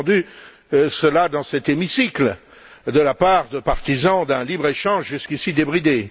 J'ai entendu cela dans cet hémicycle de la part de partisans d'un libre échange jusqu'ici débridé.